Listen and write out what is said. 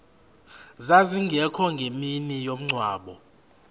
zazingekho ngemini yomngcwabo